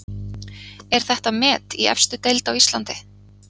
Er þetta met í efstu deild á Íslandi?